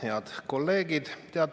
Head kolleegid!